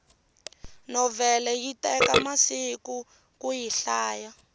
novhele yi teka masiku kuyi hlaya